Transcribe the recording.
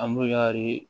An bɛ kari